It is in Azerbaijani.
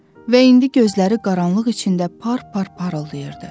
Və indi gözləri qaranlıq içində par par parıldayırdı.